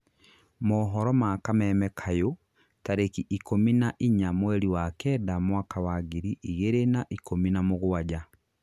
mohoro ma kameme kayũ, tarĩki ikũmi na inya mweri wa Kenda mwaka wa ngiri igĩrĩ na ikũmi na mũgwanja